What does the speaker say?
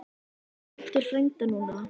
Má ég tala við Baldur frænda núna?